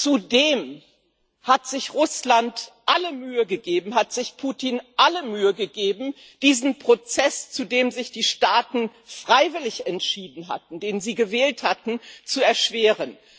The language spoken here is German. Zudem hat sich Russland alle Mühe gegeben, hat sich Putin alle Mühe gegeben, diesen Prozess, zu dem sich die Staaten freiwillig entschieden hatten, den sie gewählt hatten, zu erschweren.